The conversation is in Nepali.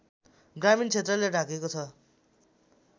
ग्रामीण क्षेत्रले ढाकेको छ